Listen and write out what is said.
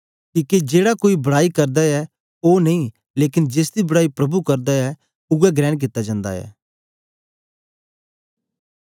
किके जेड़ा कोई बड़ाई करदा ऐ ओ नेई लेकन जेसदी बड़ाई प्रभु करदा ऐ उवै ग्रहण कित्ता जन्दा ऐ